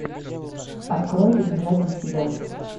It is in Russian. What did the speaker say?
открой добежать до себя